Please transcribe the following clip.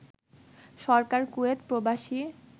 সরকার Kuwait প্রবাসী